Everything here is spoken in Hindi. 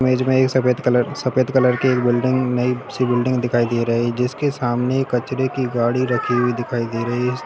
इमेज में एक सफेद कलर सफेद कलर की एक बिल्डिंग नई सी बिल्डिंग दिखाई दे रही है जिसके सामने कचड़े की गाड़ी रखी हुई दिखाई दे रही है।